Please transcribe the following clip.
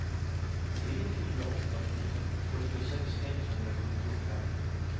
tre fyra åtta fyra fyrtiosex etthundrasjuttiofem